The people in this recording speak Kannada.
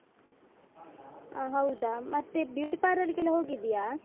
ಆ ಹೌದಾ. ಮತ್ತೆ beauty parlour ಗೆಲ್ಲ ಹೋಗಿದ್ಯಾ?